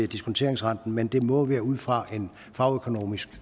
diskonteringsrenten men at det må være ud fra en fagøkonomisk